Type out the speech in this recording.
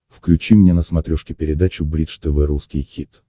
включи мне на смотрешке передачу бридж тв русский хит